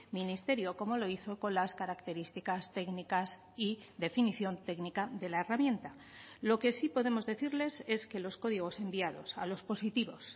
ministerio como lo hizo con las características técnicas y definición técnica de la herramienta lo que sí podemos decirles es que los códigos enviados a los positivos